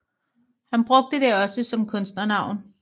Han brugte det også som kunstnernavn